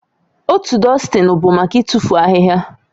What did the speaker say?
Otu dustini bụ maka ịtụfu ahịhịa